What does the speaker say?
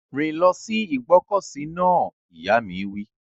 Rìn lọ sí ìgbọ́kọ̀sí náà! Ìyá mi wí.